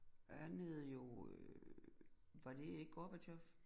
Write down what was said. Han hed jo øh var det ikke Gorbatjov